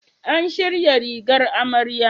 An shirya rigar amarya?